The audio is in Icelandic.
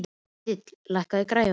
Ketilbjörg, lækkaðu í græjunum.